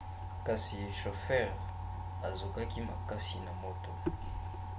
kasi shofere azokaki makasi na moto